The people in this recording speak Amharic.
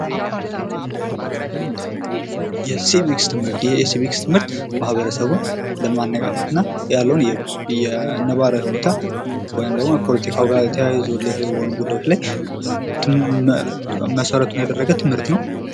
የሲቪክስ ትምህርት ። የሲቪክስ ትምህርት ማኅበረሰቡን ለማነቃቃት እና ያለውን የነባራዊ ሁኔታ ወይም ደግሞ ከፖለቲካው ጋር ተያይዞ ሪሌትድ በሆኑ ጉዳዮች ላይ መሰረቱን ያደረገ ትምህርት ነው ።